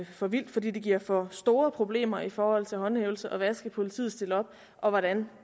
for vildt fordi det giver for store problemer i forhold til håndhævelsen hvad skal politiet stille op og hvordan